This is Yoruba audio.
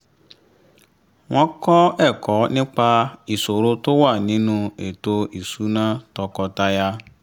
wọ́n kọ́ ẹ̀kọ́ nípa ìṣòro tó wà nínú ètò ìṣúná tọkọtaya